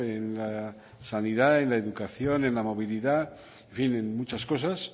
en la sanidad en la educación en la movilidad en fin en muchas cosas